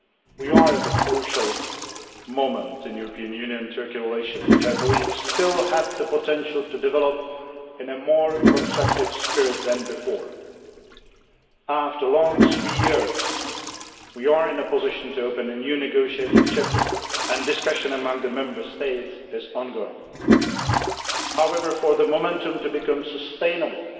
We are at a crucial moment in EU Turkey relations, which I believe still have the potential to develop in a more constructive spirit than before. After a long three years, we are in a position to open a new negotiating chapter, and discussion among the Member States is ongoing. However, for the momentum to become sustainable,